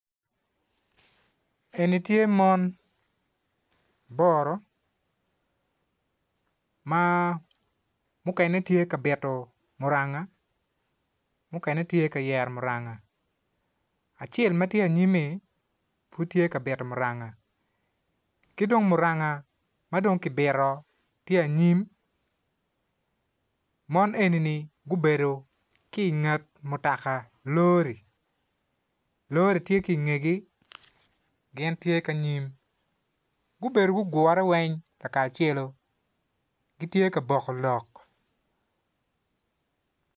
Eni tye mon aboro ma mukene tye bito muranga mukene tye ka yero muranga acel ma tye anyim-mi, pud tye ka bito muranga ki dong muranga ma dong kibito tye anyim mo enini gubedo ki inget mutoka lori lori tye ki ingegi gin tye ki anyim gubedo gugure weng lakacelo gitye ka boko lok.